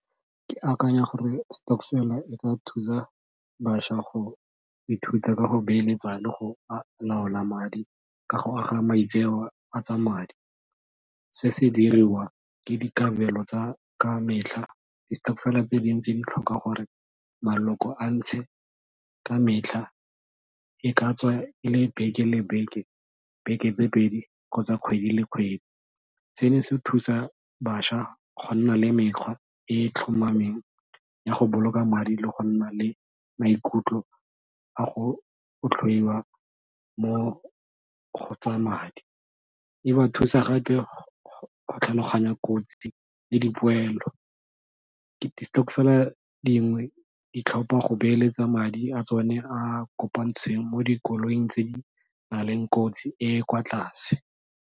Ke akanya gore stokvel e ka thusa bašwa go ithuta ka go beeletsa le go laola madi ka go aga maitseo a tsa madi. Se se diriwa ka dikabelo tsa ka metlha. Distokvel tse dintsi di tlhoka gore maloko a ntshe ka metlha, e ka tswa e le beke le beke, beke tse pedi kgotsa kgwedi le kgwedi. Seno se thusa bašwa go nna le mekgwa e e tlhomameng ya go boloka madi le go nna le maikutlo a go mo go tsa madi. E ba thusa gape go tlhaloganya kotsi le dipoelo. Distokvel dingwe di tlhopha go beeletsa madi a tsone a kopantsweng mo dikoloing tse di na leng kotsi e e kwa tlase.